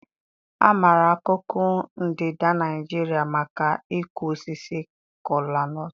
A maara akụkụ ndịda Nigeria maka ịkụ osisi Kalo-nut.